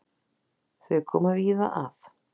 Þau koma víða að.